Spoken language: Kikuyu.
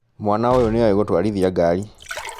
Mwana ũyũ nĩoi gũtwarithia ngari